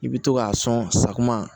I bɛ to k'a sɔn sakuma